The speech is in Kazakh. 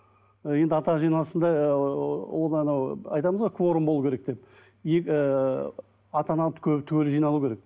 енді ата аналар жиналысында ыыы ол анау айтамыз ғой кворум болу керек деп ыыы ата ана түгел жиналу керек